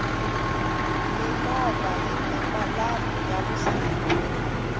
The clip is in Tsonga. mimovha yini malambhu ya vusiku